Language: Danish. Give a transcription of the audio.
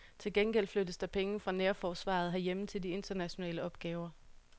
Til gengæld flyttes der penge fra nærforsvaret herhjemme til de internationale opgaver.